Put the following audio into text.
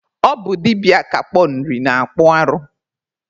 Ọ bụ dibịa akpakpọ Nri na-akpụ arụ.